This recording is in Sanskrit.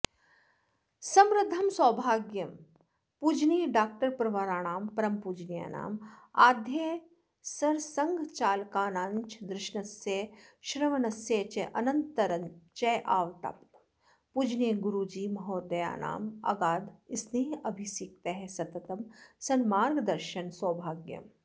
समृद्धं सौभाग्यं पूजनीयडाक्टरप्रवराणां परमपूजनीयानां आद्यसरसंघचालकानाञ्च दर्शनस्य श्रवणस्य च अनन्तरञ्चावाप्तं पूजनीयगुरूजीमहोदयानामगाधस्नेहाभिसिक्त सततं सन्मार्गदर्शन सौभाग्यम्